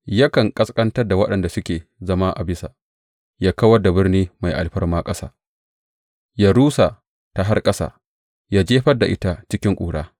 Yakan ƙasƙantar da waɗanda suke zama a bisa ya kawar da birni mai alfarma ƙasa; ya rusa ta har ƙasa ya jefar da ita cikin ƙura.